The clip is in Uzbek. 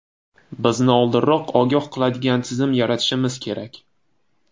Bizni oldinroq ogoh qiladigan tizim yaratishimiz kerak.